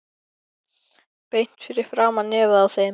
Beint fyrir framan nefið á þeim.